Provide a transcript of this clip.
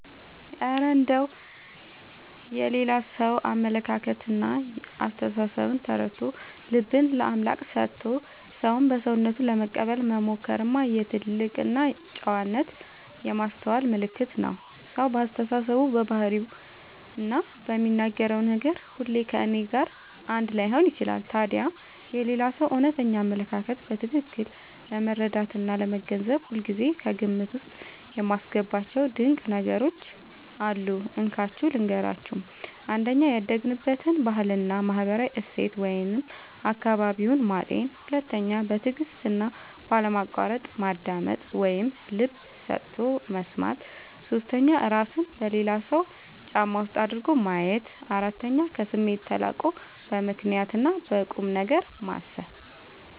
እረ እንደው የሌላ ሰውን አመለካከትና አስተሳሰብ ተረድቶ፣ ልብን ለአምላክ ሰጥቶ ሰውን በሰውነቱ ለመቀበል መሞከርማ የትልቅ ጨዋነትና የማስተዋል ምልክት ነው! ሰው በአስተሳሰቡ፣ በባህሪውና በሚናገረው ነገር ሁሉ ከእኔ ጋር አንድ ላይሆን ይችላል። ታዲያ የሌላውን ሰው እውነተኛ አመለካከት በትክክል ለመረዳትና ለመገንዘብ ሁልጊዜ ከግምት ውስጥ የማስገባቸው ድንቅ ነገሮች አሉ፤ እንካችሁ ልንገራችሁ - 1. ያደገበትን ባህልና ማህበራዊ እሴት (አካባቢውን) ማጤን 2. በትዕግስትና ባለማቋረጥ ማዳመጥ (ልብ ሰጥቶ መስማት) 3. እራስን በሌላው ሰው ጫማ ውስጥ አድርጎ ማየት 4. ከስሜት ተላቆ በምክንያትና በቁምነገር ማሰብ